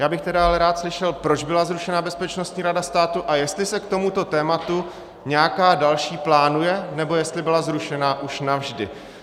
Já bych tedy ale rád slyšel, proč byla zrušena Bezpečnostní rada státu a jestli se k tomuto tématu nějaká další plánuje, nebo jestli byla zrušena už navždy.